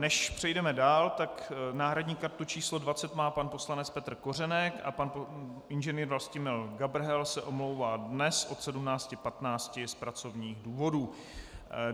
Než přejdeme dál, tak náhradní kartu číslo 20 má pan poslanec Petr Kořenek a pan Ing. Vlastimil Gabrhel se omlouvá dnes od 17.15 z pracovních důvodů.